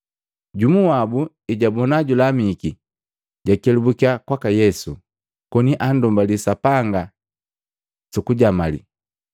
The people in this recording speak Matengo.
Jumu wabu ejabona julamiki, jakelabukya kwaka Yesu, koni andumbali Sapanga suku jamalii.